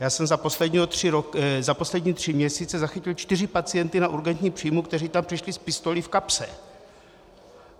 Já jsem za poslední tři měsíce zachytil čtyři pacienty na urgentním příjmu, kteří tam přišli s pistolí v kapse.